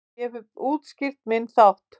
Ég hef útskýrt minn þátt.